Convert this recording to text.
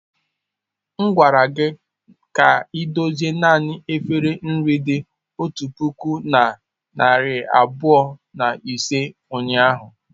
M gwara gị ka idozie naanị efere nri dị otu puku na narị abụọ na ise ụnyahụ.